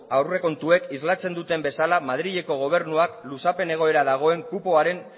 aurrekontuek islatzen duten bezala madrileko gobernuak luzapen egoera dagoen kupoaren